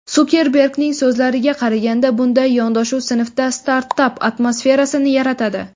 Sukerbergning so‘zlariga qaraganda, bunday yondashuv sinfda startap atmosferasini yaratadi.